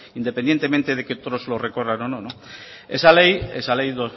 independientemente de que otros lo recorran o no esa ley